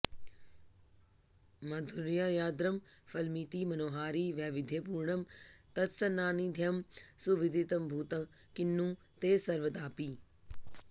माधुर्यार्द्रं फलमिति मनोहारि वैविध्यपूर्णं तत्सान्निध्यं सुविदितमभूत् किन्नु ते सर्वदापि